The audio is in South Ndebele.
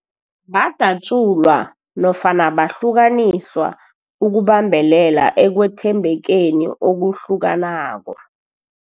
Badatjulwa nofana bahlukaniswa ukubambelela ekwethembekeni okuhlukanako.